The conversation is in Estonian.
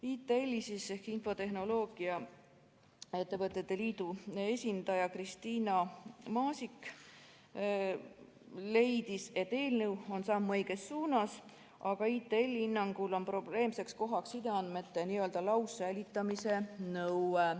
ITL-i ehk Eesti Infotehnoloogia ja Telekommunikatsiooni Liidu esindaja Kristiina Maasik leidis, et eelnõu on samm õiges suunas, aga ITL-i hinnangul on probleemseks kohaks sideandmete laussäilitamise nõue.